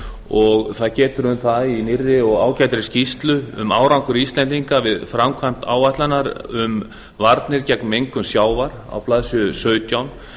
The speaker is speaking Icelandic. og það getur um það í nýrri og ágætri skýrslu um árangur íslendinga við framkvæmd áætlunar um varnir gegn mengun sjávar á blaðsíðu sautján